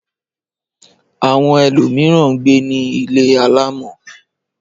Àwọn ẹlòmíràn ń gbé ní ilé alámọ̀.